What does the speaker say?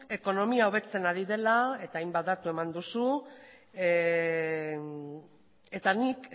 ekonomia hobetzen ari dela eta hainbat datu eman duzu eta nik